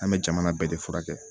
An bɛ jamana bɛɛ de furakɛ